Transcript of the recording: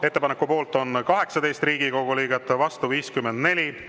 Ettepaneku poolt on 18 Riigikogu liiget, vastu 54.